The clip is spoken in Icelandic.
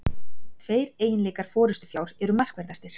Tveir eiginleikar forystufjár eru markverðastir.